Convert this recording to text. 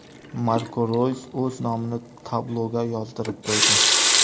Marko Roys o‘z nomini tabloga yozdirib qo‘ydi.